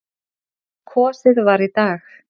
Kosið var í dag.